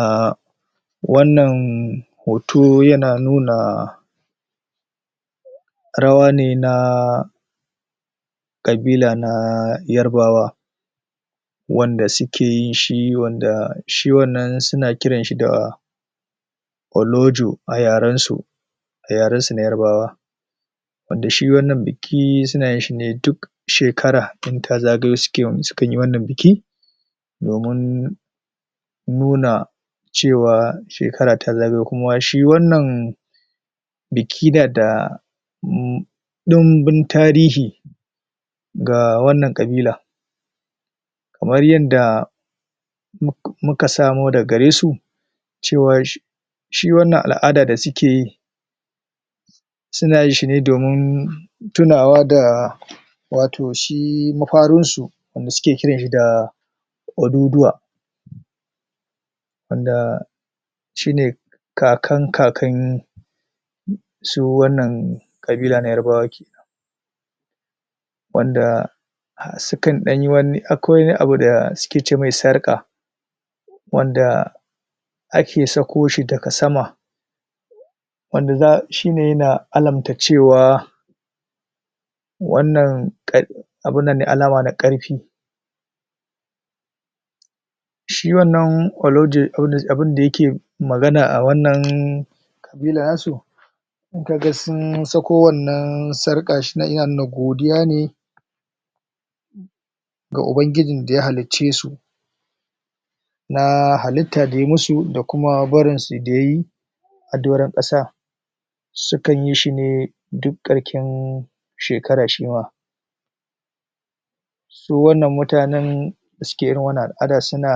A wannan hoto yana nuna rawa ne na kabila na yarbawa wanda sukeyi shi wanda shi wannan suna kiranshi da olojo ayarensu yarensu na yarbawa wanda shi wannan biki suna yin shine duk shekara in ta zagayo suke wannan biki domun nuna cewa shekara ta zagayo kuma shi wannan biki nada um ɗunbbun tarihi ga wannan kabila kamar yanda muk muka samo daga garesu cewar shi shi wannan al'ada da sukeyi suna yinshine domin tunawa da wato shi mafarinsu wanda suke kiranshi da Oduduwa waanda shine kakan kakan su wannan kabila na yarbawa kenan wanda as sukan danyi de wani abu dasu ce mai sarka wanda ake sakoshi daga sama wanda za shine yana alarmta cewa wannan kad alama ne na karfi shi wanna olaje wanda abunda yakeyi magana a wannan kaga sun sako wannan sarka shi yana nuna godiya ne ga Ubangijin daya hallicesu naa halitta daya musu da kuma barinsu dayayi adoran kasa sukan yishi ne duk karken shekara shima su wannan mutanen dasuke irin wannan al'ada suna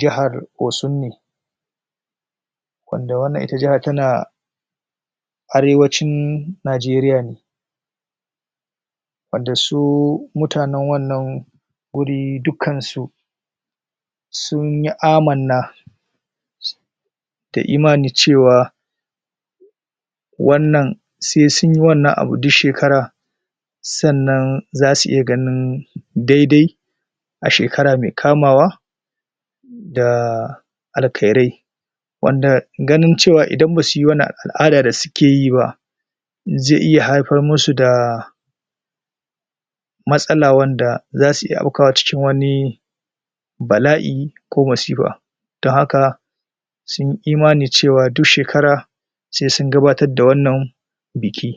jihar Osun ne wanda wannan ita jahan tana arewacin Nigeria ne wanda su mutanen wannan guri dukkansu sunyi amanna da imani cewa wannan sai sunyi wannan abun duk shekara sa'anan zasu iya ganin daidai ashekara mai kamawa daa alkhairai wanda ganin cewa idan basu yi wannan al'ada dasu ke yiba ze iya haifar musu da matsala wanda zasu iya habkawa cikin wani bala'i ko masifa ta haka sunyi imani cewa duk shekara se sun gabatar da wannan biki.